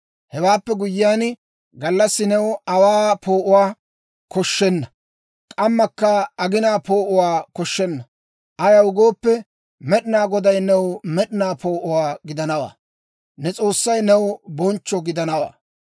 «Hewaappe guyyiyaan, gallassi new aawaa poo'uwaa koshshenna; k'ammakka aginaa poo'uwaa koshshenna. Ayaw gooppe, Med'inaa Goday new med'inaa poo'o gidanawaa; ne S'oossay new bonchcho gidanawaa.